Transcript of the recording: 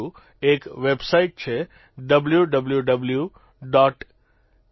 એક વેબસાઇટ છે www